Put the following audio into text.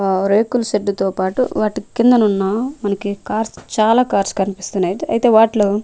ఆ రేకుల షెడ్ తో పాటు వాటి కిందనున్న మనకి కార్స్ చాలా కార్స్ కన్పిస్తున్నాయి ఐతె అయితే వాటిలో --